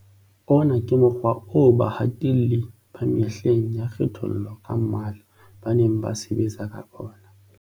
Ona ke mokgwa oo bahatelli ba mehleng ya kgethollo ka mmala ba neng ba sebetsa ka ona.